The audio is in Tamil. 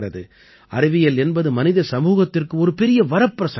அறிவியல் என்பது மனித சமூகத்திற்கு ஒரு பெரிய வரப்பிரசாதம்